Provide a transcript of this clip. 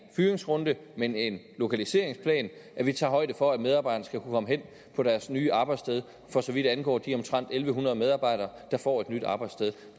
fyringsrunde men en lokaliseringsplan hvor vi tager højde for at medarbejderne kan komme hen på deres nye arbejdssted for så vidt angår de omtrent en hundrede medarbejdere der får et nyt arbejdssted